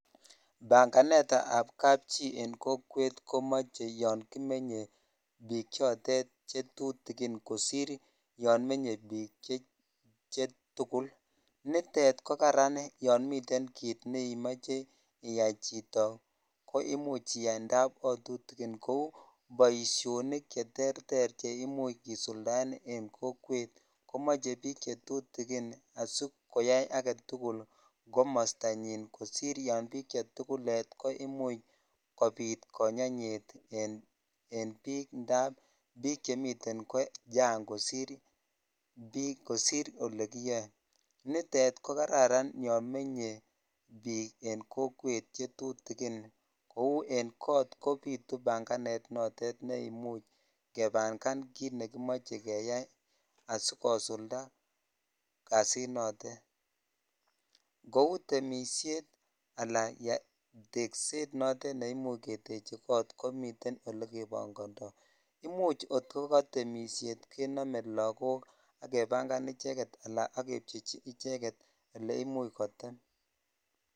Banganetab kapchii en kokwet komoche yoon kimenye biik chotet chetutukin kosir yoon menye biik chetukul, nitet ko karan yoon miten kiit nemoche chito koimuch iyai ndab otutukin kou boishonik cheterter cheimuch kisuldaen en kokwet komoche biik chetutukin asikoyai aketukul komostanyin kosir yoon biik chetukulet ko imuch kobit konyonyet en biik ndab biik chemiten kochang' kosir olekiyoe, nitet ko kararan yoon menye biik en kokwet chetutukin kouu en koot kobitu banganet noton neimuch kebang'an kiit nekimoche keyai asikosulda kasinotet, kouu temishet alaa tekset notet neimuch keteche koot komiten elekebong'ndo, imuch kot ko kotemishet kenome lokok ak kebangan icheket alaa ak kepchechi icheket eleimuch kotem.